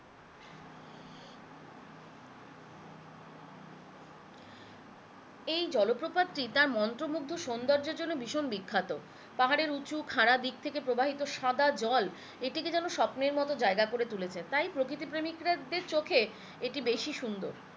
এই জলপ্রপাতটি তার মন্ত্র মুগ্ধ সুন্দর্যের জন্য ভীষণ বিখ্যাত পাহাড়ের উঁচু খাড়া দিক থেকে প্রবাহিত সাদা জল এটিকে যেন স্বপ্নের মতো জায়গা করে তুলেছে, তাই প্রকৃতি প্রেমিকদের এটি বেশি সুন্দর